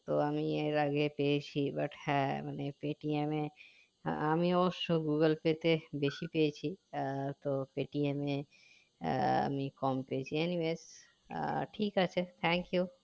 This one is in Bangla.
তো আমি এর আগে পেয়েছি but হ্যাঁ মানে Paytm এ আমিও অবশ্য google pay তে বেশি পেয়েছি আহ তো Paytm এ আহ আমি কম পেয়েছি any base আহ ঠিক আছে thank you